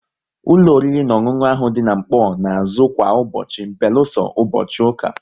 Ụlọ oriri na ọṅụṅụ ahụ dị n'Nkpor na azụ kwa ụbọchị beluso ụbọchị ụka